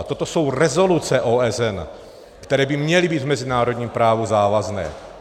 A toto jsou rezoluce OSN, které by měly být v mezinárodním právu závazné.